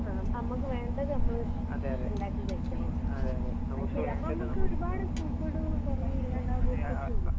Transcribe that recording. അമ്മക്ക് വേണ്ടത് അമ്മള് ഉണ്ടാക്കി കഴിക്കണം അത് ശെരിയാ അപ്പോ നമുക്ക് ഒരുപാട് സൂക്കേടുകള് കുറയുകയും ഇല്ലാണ്ടാകുകയും ഒക്കെ ചെയ്യും